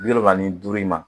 Bi wolonwula ni duuru in ma